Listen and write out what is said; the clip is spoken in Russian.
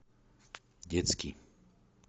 детский